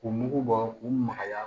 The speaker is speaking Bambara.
K'u mugu bɔ k'u magaya